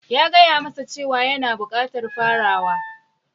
...ya gaya masa cewa yana bukatar farawa...